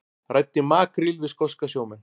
Ræddi makríl við skoska sjómenn